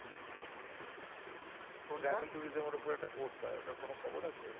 এর উপর একটা কোর্স হয় ওটার কোন খবর আছে?